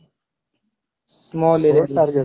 small area ରେ target